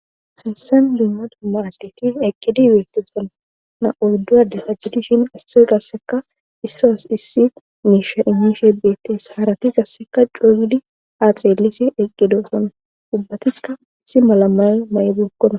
hessen biima dumma ateti eqqidi beetefana na7oldu7ade sa gidishin isse gasseka issoos issi miisha imishe beettees haarati gasseka couygidi aaxeelisi eqqido son dubbatikka isi malamayy may7 bookkona